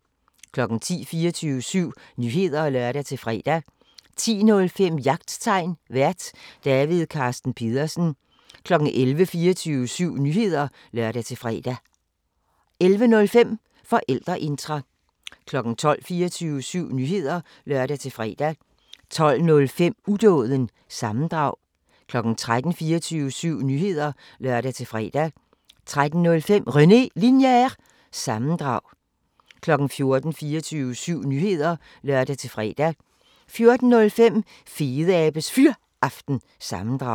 10:00: 24syv Nyheder (lør-fre) 10:05: Jagttegn Vært: David Carsten Pedersen 11:00: 24syv Nyheder (lør-fre) 11:05: Forældreintra 12:00: 24syv Nyheder (lør-fre) 12:05: Udåden – sammendrag 13:00: 24syv Nyheder (lør-fre) 13:05: René Linjer- sammendrag 14:00: 24syv Nyheder (lør-fre) 14:05: Fedeabes Fyraften – sammendrag